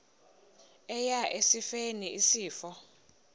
eya esifeni isifo